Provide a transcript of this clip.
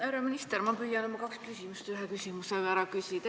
Härra minister, ma püüan oma kaks küsimust ühe küsimusega ära küsida.